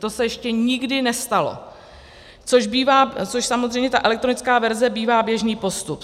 To se ještě nikdy nestalo, což samozřejmě ta elektrická verze bývá běžný postup.